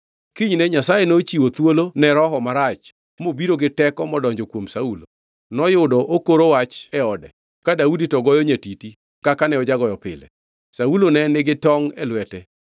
Kinyne Nyasaye nochiwo thuolo ne roho marach mobiro gi teko modonjo kuom Saulo. Noyudo okoro wach e ode, ka Daudi to ne goyo nyatiti kaka ne ojagoyo pile. Saulo ne nigi tongʼ e lwete